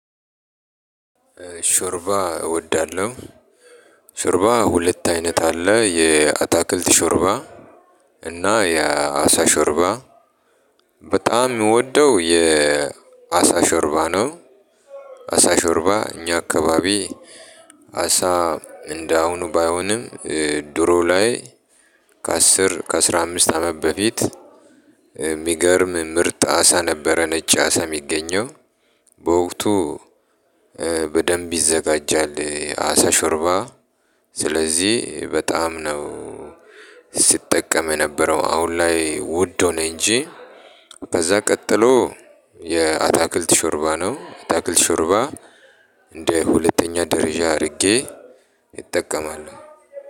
ሾርባ እወዳለሁ። ሾርባ ሁለት አይነት አለ የአታክልት ሾርባ እና የአሳ ሾርባ በጣም ምወደው የአሳ ሾርባ ነው። አሳ ሾርባ እኛ አካባቢ አሳ እንደ አሁኑ ባይሆንም ድሮ ላይ። ከአሥራ አምስት አመት በፊት የሚገርም ምርጥ አሳ ነበረ ነጭ አሳ የሚገኘው በወቅቱ በደንብ ይዘጋጃል አሳ ሾርባ። ስለዚህ በጣም ነው ሲጠቀም የነበረው አሁን ላይ ውድ ሆነ እንጂ። ከዛ ቀጥሎ የአታክልት ሾርባ ነው አታክልት ሾርባ እንደ ሁለተኛ ደረጃ አድርጌ እጠቀማለሁ።